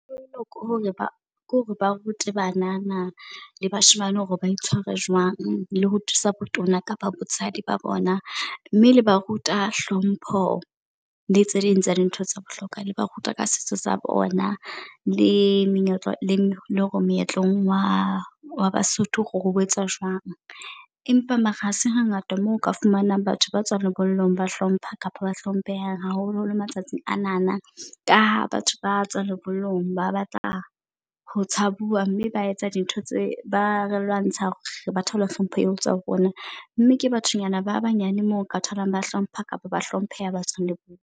Ho bohlokwa hore ke hore ba rute banana le bashemane hore ba itshware jwang le ho thusa botona kapa botshegdi ba bona. Mme le ba ruta hlompho le tse ding tsa dintho tsa bohlokwa, le ba ruta ka setso sa bona le menyetla le meetlong wa wa baSotho hore ho etsa jwang. Empa mara ha se hangata mo o ka fumanang batho ba tswang lebollong ba hlompha kapa ba hlomphehang haholo holo matsatsing anana, ka ha batho batswa lebollong ba batla ho tshabua mme ba etsa dintho tse ba re lwantsha. Hore ba thole hlompho eo etswang ho rona. Mme ke bathonyana ba banyane mo ka tholang, ba hlompha kapa ba hlompheha ba tswang lebollong.